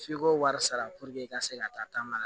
F'i k'o wari sara i ka se ka taa ma la